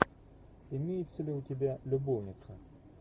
имеется ли у тебя любовницы